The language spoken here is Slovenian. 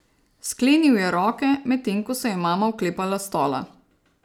Sklenil je roke, medtem ko se je mama oklepala stola.